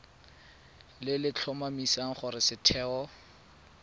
le le tlhomamisang gore setheo